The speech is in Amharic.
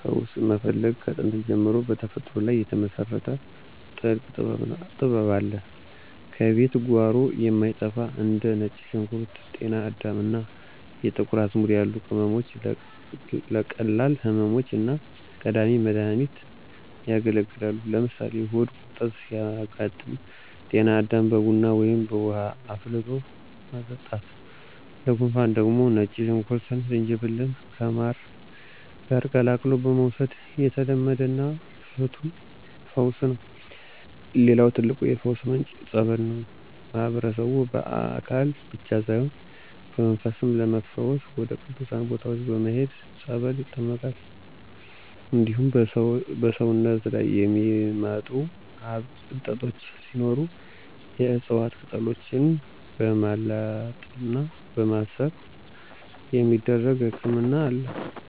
ፈውስ መፈለግ ከጥንት ጀምሮ በተፈጥሮ ላይ የተመሰረተ ጥልቅ ጥበብ አለው። ከቤት ጓሮ የማይጠፉ እንደ ነጭ ሽንኩርት፣ ጤና አዳም እና የጥቁር አዝሙድ ያሉ ቅመሞች ለቀላል ህመሞች እንደ ቀዳሚ መድሃኒት ያገለግላሉ። ለምሳሌ ሆድ ቁርጠት ሲያጋጥም ጤና አዳምን በቡና ወይም በውሃ አፍልቶ መጠጣት፣ ለጉንፋን ደግሞ ነጭ ሽንኩርትና ዝንጅብልን ከማር ጋር ቀላቅሎ መውሰድ የተለመደና ፍቱን ፈውስ ነው። ሌላው ትልቁ የፈውስ ምንጭ "ፀበል" ነው። ማህበረሰቡ በአካል ብቻ ሳይሆን በመንፈስም ለመፈወስ ወደ ቅዱሳን ቦታዎች በመሄድ በፀበል ይጠመቃል። እንዲሁም በሰውነት ላይ የሚወጡ እብጠቶች ሲኖሩ የዕፅዋት ቅጠሎችን በማላጥና በማሰር የሚደረጉ ህክምናዎች አሉ።